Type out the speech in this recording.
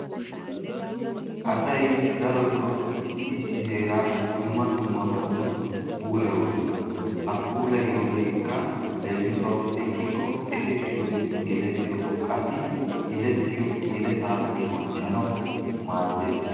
Asayi darotoo issi issi heeraa dumma dummabatun puulayoosona. Ha puulayiyogeekka lermisuwawu ekkikko ekettiyogawunne gelettiyogawu qassi yelettiyo yeleyaa bonchchanawu maaddes.